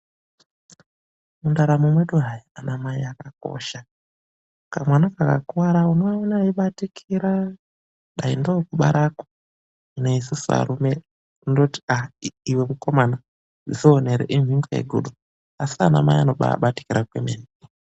Mundaramo mwedu hai, anamai akakosha. Kamwana kakakuwara unoaona eibatikira, dai ndoo kubarako. Hino isusu arume kundoti aa iwe mukomana dzionere, imhingo yegudo. Asi anamai anobaabatikira kwemene.